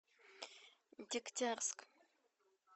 дегтярск